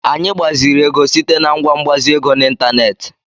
Anyị gbaziri ego site na ngwa mgbazi ego n'ịntanetị.